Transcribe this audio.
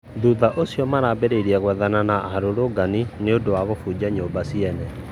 Thũtha ũcĩo marambirĩĩrĩe gwethana na arũrũngani nĩundũ wa kũbũnja nyũmba cĩene